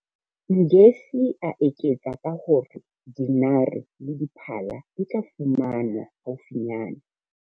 Ngesi, a eketsa ka ho re dinare le diphala di tla fumanwa haufinyane.